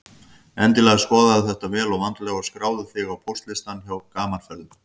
Endilega skoðaðu þetta vel og vandlega og skráðu þig á póstlistann hjá Gaman Ferðum.